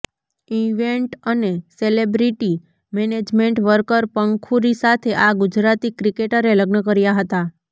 event અને celebrity management worker Pankhuri સાથે આ ગુજરાતી ક્રિકેટરે લગ્ન કર્યા હતા